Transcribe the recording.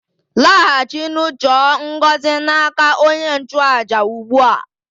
Laghachinụ chọọ ngọzi n' aka onye nchụàjà ugbu a!